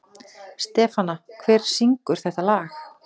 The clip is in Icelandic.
Stefana, hver syngur þetta lag?